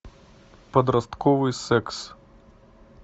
подростковый секс